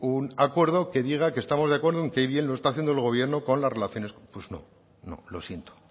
un acuerdo que diga que estamos de acuerdo en qué bien lo está haciendo el gobierno con las relaciones pues no no lo siento